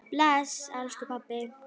Bless, elsku pabbi.